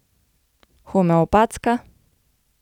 Homeopatska?